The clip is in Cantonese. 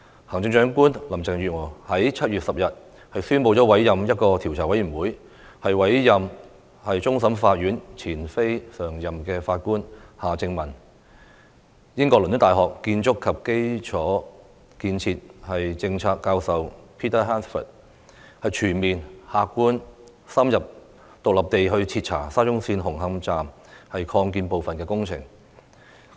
行政長官林鄭月娥在7月10日宣布委任調查委員會，委任終審法院前非常任法官夏正民及英國倫敦大學學院建築和基礎建設政策教授 Peter HANSFORD， 全面、客觀、深入和獨立地徹查沙中線紅磡站擴建部分的工程。